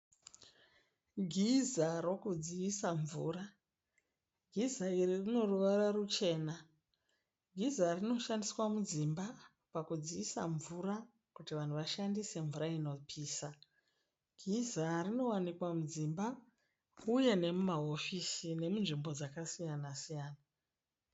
Giza rokudziisa mvura. Giza iri rinoruvara ruchena. Giza rinoshandiswa mudzimba pakudziisa mvura kuti vanhu vashandise mvura inopisa. Giza rinowanikwa mudzimba uye nemumahofisi nemunzvimbo dzakasiaya-siyana.